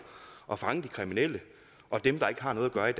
og fange de kriminelle og dem der ikke har noget at gøre i